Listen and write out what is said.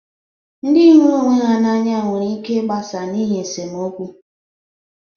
Ndị hụrụ ọnwe ha n'anya nwere ịke ịgbasa n'ihi esemokwu.